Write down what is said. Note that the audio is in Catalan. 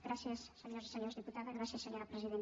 gràcies senyors i senyores diputades gràcies senyora presidenta